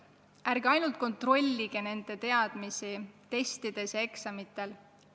Ärge ainult kontrollige nende teadmisi testides ja eksamitel!